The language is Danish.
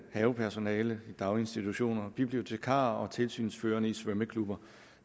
havepersonale i daginstitutioner bibliotekarer og tilsynsførende i svømmeklubber